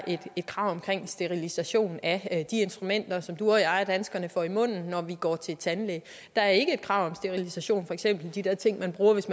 et krav om sterilisation af de instrumenter som du og jeg danskere får i munden når vi går til tandlæge der er ikke krav om sterilisation af for eksempel de der ting der bruges